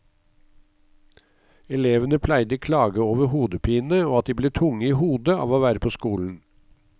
Elevene pleide klage over hodepine og at de ble tunge i hodet av å være på skolen.